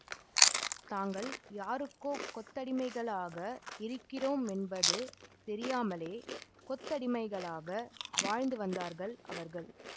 தாங்கள் யாருக்கோ கொத்தடிமைகளாக இருக்கிறோம் என்பது தெரியாமலே கொத்தடிமைகளாக வாழ்ந்து வந்தார்கள் அவர்கள்